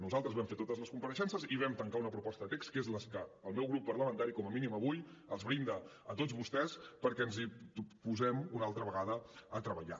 nosaltres vam fer totes les compareixences i vam tancar una proposta de text que és la que el meu grup parlamentari com a mínim avui els brinda a tots vostès perquè ens posem una altra vegada a treballar